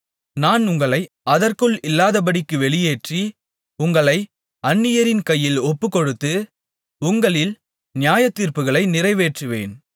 நான் உங்களை அதற்குள் இல்லாதபடிக்குப் வெளியேற்றி உங்களை அந்நியரின் கையில் ஒப்புக்கொடுத்து உங்களில் நியாயத்தீர்ப்புகளை நிறைவேற்றுவேன்